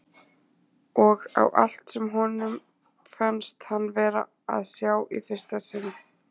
Og á allt sem honum fannst hann vera að sjá í fyrsta sinn.